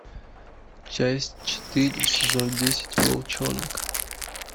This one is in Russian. часть четыре сезон десять волчонок